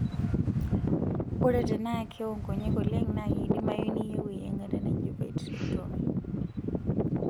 Ore tenaa kewo nkonyek oleng' naa keidimayu niyieu eyiangata naji vitrectomy.